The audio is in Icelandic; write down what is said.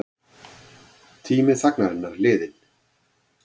Tími þagnarinnar liðinn